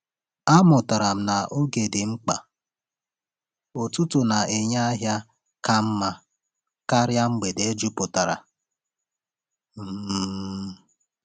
Amụtara m na oge dị mkpa; ụtụtụ na-enye ọnụ ahịa ka mma karịa mgbede jupụtara. um